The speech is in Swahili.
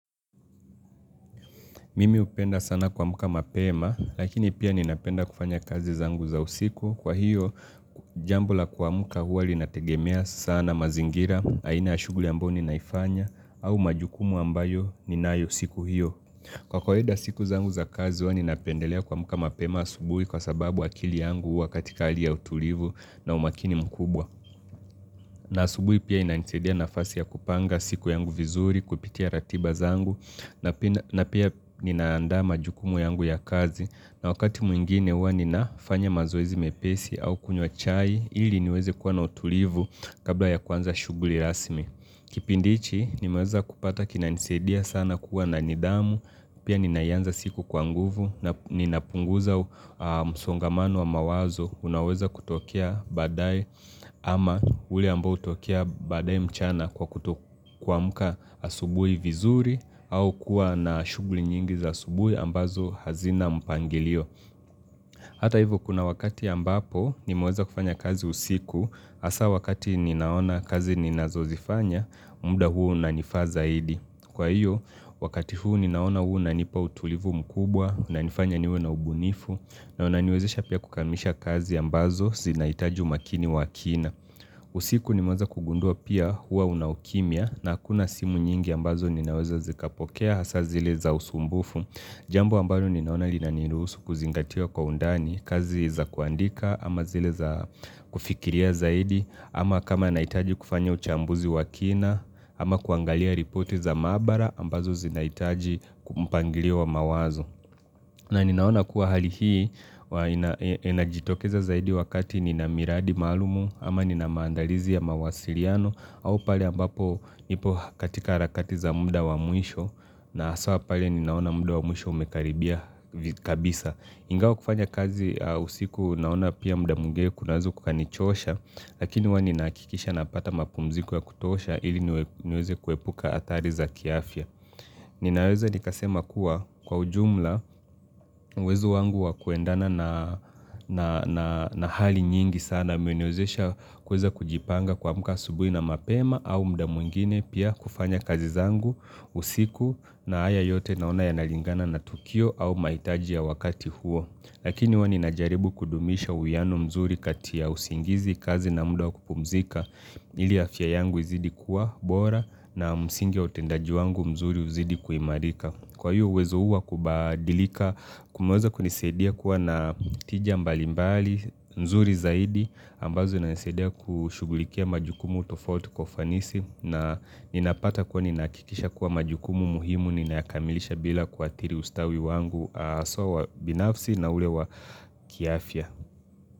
Mimi hupenda sana kuamka mapema, lakini pia ninapenda kufanya kazi zangu za usiku. Kwa hiyo, jambo la kuamka huwa linategemea sana mazingira, aina ya shuguli ambayo ninaifanya au majukumu ambayo ninayo siku hiyo. Kwa kawaida siku zangu za kazi huwa ninapendelea kuamka mapema asubui kwa sababu akili yangu huwa katika hali ya utulivu na umakini mkubwa. Na asubui pia inanisaidia nafasi ya kupanga siku yangu vizuri, kupitia ratiba zangu na pia ninaandaa majukumu yangu ya kazi na wakati mwingine huwa ninafanya mazoezi mepesi au kunywa chai ili niweze kuwa na utulivu kabla ya kuanza shuguli rasmi Kipindi hichi nimeweza kupata kinanisaidia sana kuwa na nidhamu pia ninaianza siku kwa nguvu na ninapunguza msongamano wa mawazo unaweza kutokea badaae ama ule ambao hutokea badaae mchana kwa kutoamka asubui vizuri au kuwa na shughuli nyingi za asubui ambazo hazina mpangilio Hata hivo kuna wakati ambapo nimeweza kufanya kazi usiku hasa wakati ninaona kazi ninazozifanya, muda huu unanifaa zaidi Kwa hiyo, wakati huu ninaona huu unanipa utulivu mkubwa, unanifanya niwe na ubunifu na unaniwezisha pia kukamisha kazi ambazo zinaitaji umakini wa kina. Usiku nimeweza kugundua pia huwa una ukimya na hakuna simu nyingi ambazo ninaweza zikapokea hasa zile za usumbufu. Jambo ambalo ninaona linaniruhusu kuzingatia kwa undani kazi za kuandika ama zile za kufikiria zaidi ama kama nahitaji kufanya uchambuzi wa kina ama kuangalia ripoti za maabara ambazo zinahitaji mpangilio wa mawazo. Na ninaona kuwa hali hii huwa inajitokeza zaidi wakati nina miradi maalumu ama nina maandalizi ya mawasilano au pale ambapo nipo katika harakati za muda wa mwisho na haswa pale ninaona muda wa mwisho umekaribia kabisa. Ingawa kufanya kazi usiku naona pia muda mwingine kunaweza kukanichosha lakini huwa ninahakikisha napata mapumziko ya kutosha ili niweze kuepuka athari za kiafya. Ninaweza nikasema kuwa kwa ujumla uwezo wangu wa kuendana na hali nyingi sana umeniwezesha kuweza kujipanga kuamka asubui na mapema au muda mwingine pia kufanya kazi zangu usiku na haya yote naona yanalingana na tukio au mahitaji ya wakati huo, lakini huwa ninajaribu kudumisha uwiano mzuri kati ya usingizi, kazi na muda wa kupumzika ili afya yangu izidi kuwa bora na msingi wa utendaji wangu mzuri uzidi kuimarika. Kwa hiyo uwezo huu wa kubadilika kumeweza kunisaidia kuwa na tija mbali mbali nzuri zaidi ambazo zinanisaidia kushugulikia majukumu tofauti kwa ufanisi na ninapata kuwa ninahakikisha kuwa majukumu muhimu ninayakamilisha bila kuathiri ustawi wangu haswa wa binafsi na ule wa kiafya.